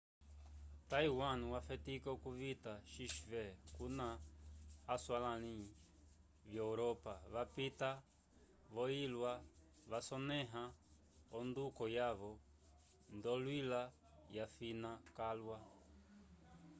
taiwan wafetika k'ovita xv kuna aswalãli vyo europa vapita vo ilya vasonẽha onduko yavo nd'oyilya yafina calwa